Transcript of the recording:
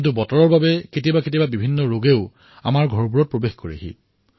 কিন্তু জলবায়ুৰ কাৰণত কেতিয়াবা কেতিয়াবা বেমাৰতো আক্ৰান্ত হোৱা যায়